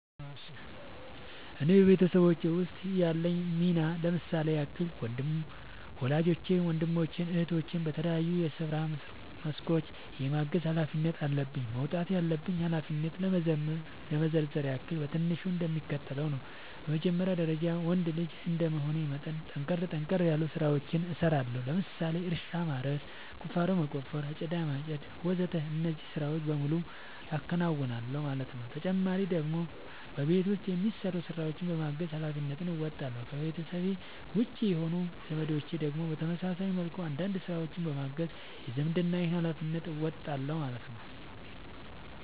እኔ በቤተሰቦቼ ውስጥ ያለኝ ሚና ለምሳሌ ያክል ወላጆቼን ወንድሞቼን እህቶቼን በተለያዩ የስራ መስኮች የማገዝ ኃላፊነት አለብኝ። መወጣት ያለብኝን ኃላፊነት ለመዘርዘር ያክል በትንሹ እንደሚከተለው ነው በመጀመሪያ ደረጃ ወንድ ልጅ እንደመሆኔ መጠን ጠንከር ጠንከር ያሉ ስራዎችን እሰራለሁ ለምሳሌ እርሻ ማረስ፣ ቁፋሮ መቆፈር፣ አጨዳ ማጨድ ወዘተ እነዚህን ስራዎች በሙሉ አከናውናል ማለት ነው ተጨማሪ ደግሞ በቤት ውስጥ የሚሰሩ ስራዎችን በማገዝ ሃላፊነትን እንወጣለሁ። ከቤተሰቤ ውጪ የሆኑት ዘመዶቼን ደግሞ በተመሳሳይ መልኩ አንዳንድ ስራዎችን በማገዝ የዝምድናዬን ሀላፊነት እወጣለሁ ማለት ነው